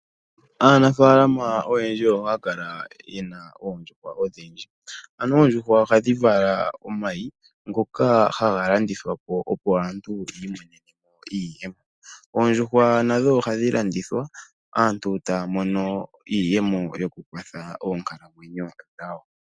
Aanafaalama oyendji ohaya kala ye na oondjuhwa odhindji. Anuwa oondjuhwa ohadhi vala omayi ngoka haga landithwa po opo aantu yi imonene mo iiyemo. Oondjuhwa nadho ohadhi landithwa aantu taya mono iiyemo yokukwatha oonkalamwenyo dhawo.